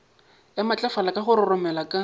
ya matlafala ka roromela ka